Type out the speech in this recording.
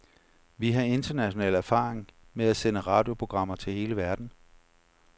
Vi har international erfaring med at sende radioprogrammer til hele verden.